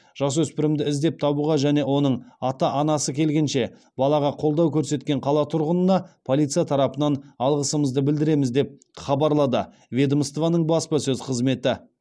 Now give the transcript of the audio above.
жасөспірімді іздеп табуға және оның ата анасы келгенше балаға қолдау көрсеткен қала тұрғынына полиция тарапынан алғысымызды білдіреміз деп хабарлады ведомствоның баспасөз қызметі